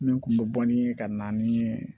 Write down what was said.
Min kun bɛ bɔ ni ye ka na ni